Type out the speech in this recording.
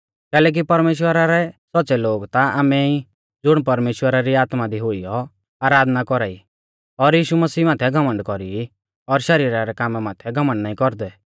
कैलैकि परमेश्‍वरा रै सौच़्च़ै लोग ता आमै ई ज़ुण परमेश्‍वरा री आत्मा दी हुइयौ आराधना कौरा ई और यीशु मसीह माथै घमण्ड कौरी ई और शरीरा रै कामा माथै घमण्ड नाईं कौरदै